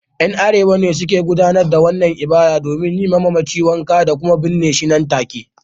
’Yan Arewa ne suke gudanar da wannan ibada domin yi wa mamaci wanka da kuma binne shi nan take